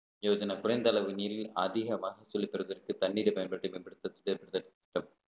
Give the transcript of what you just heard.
எழுதின குறைந்த அளவு நீரில் அதிக வாக்கு செலுத்துவதற்கு தண்ணீரை பயன்படுத்திய திட்டம்